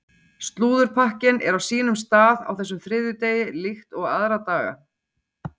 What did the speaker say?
Slúðurpakkinn er á sínum stað á þessum þriðjudegi líkt og aðra daga.